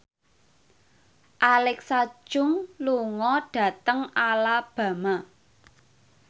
Alexa Chung lunga dhateng Alabama